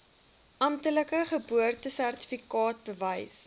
amptelike geboortesertifikaat bewys